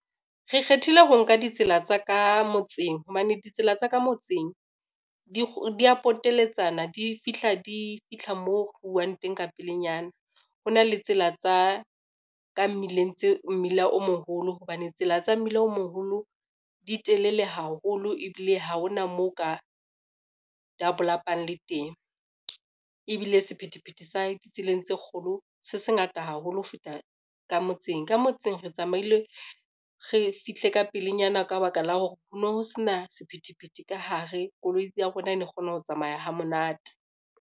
Re kgethile ho nka ditsela tsa ka motseng, hobane ditsela tsa ka motseng dia poteletsana di fitlha moo huwang teng ka pelenyana. Ho na le tsela tsa ka mmileng, tse mmila o moholo hobane tsela tsa mmele o moholo di telele haholo ebile ha hona moo ka dabolapang le teng, ebile sephethephethe sa di tseleng tseo kgolo se se ngata haholo ho feta ka motseng, ka motseng re tsamaile re fihle ka pelenyana ka ba ka la hore ho no ho sena sephethephethe ka hare, koloi ya rona e ne kgona ho tsamaya ha monate.